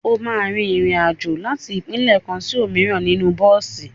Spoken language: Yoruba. O máa rin ìrìn-àjò láti ìpínlẹ̀ kan sí òmíràn nínú bọ́ọ̀sì.